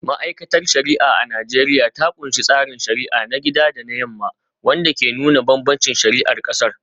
Ma’aikatar shari’a a Najeriya ta kunshi tsarin shari’a na gida da na yamma, wanda ke nuna bambancin shari’ar kasar.